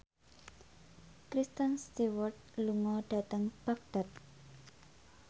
Kristen Stewart lunga dhateng Baghdad